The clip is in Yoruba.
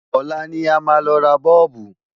Ọ̀la ní máa lọ ra Bọ́ọ̀bù